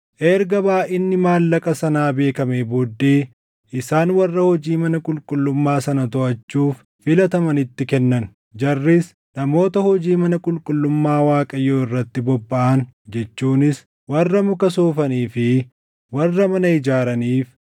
Erga baayʼinni maallaqa sanaa beekamee booddee isaan warra hojii mana qulqullummaa sana toʼachuuf filatamanitti kennan. Jarris namoota hojii mana qulqullummaa Waaqayyoo irratti bobbaʼan jechuunis warra muka soofanii fi warra mana ijaaraniif,